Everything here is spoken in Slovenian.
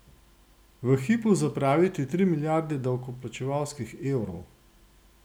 V hipu zapraviti tri milijarde davkoplačevalskih evrov?